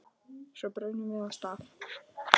Svo brunum við af stað.